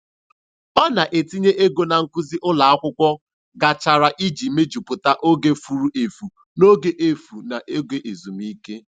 Ọ na-etinye ego na nkuzi ụlọ akwụkwọ gachara iji mejupụta oge furu efu n'oge efu n'oge ezumike.